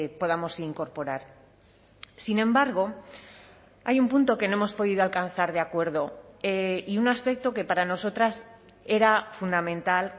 podamos incorporar sin embargo hay un punto que no hemos podido alcanzar de acuerdo y un aspecto que para nosotras era fundamental